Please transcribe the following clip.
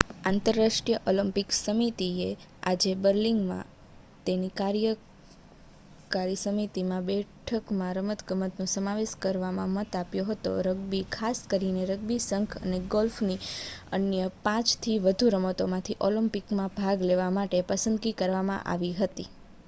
આંતરરાષ્ટ્રીય ઓલિમ્પિક સમિતિએ આજે બર્લિનમાં તેની કાર્યકારી સમિતિની બેઠકમાં રમતગમતનો સમાવેશ કરવા મત આપ્યો હતો રગ્બી ખાસ કરીને રગ્બી સંઘ અને ગોલ્ફની અન્ય 5થી વધુ રમતોમાંથી ઓલિમ્પિકમાં ભાગ લેવા માટે પસંદગી કરવામાં આવી હતી